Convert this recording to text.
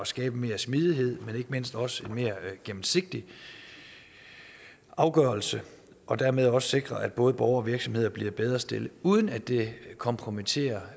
skabe mere smidighed men ikke mindst også mere gennemsigtige afgørelser og dermed også sikre at både borgere og virksomheder bliver bedre stillet uden at det kompromitterer